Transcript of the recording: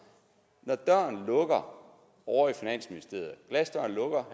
når glasdøren lukker